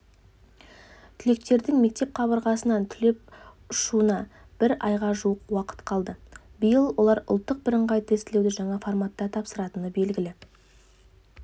түлектердің мектеп қабырғасынан түлеп ұшуына бір айға жуық уақыт қалды биыл олар ұлттық бірыңғай тестілеуді жаңа форматта тапсыратыны белгілі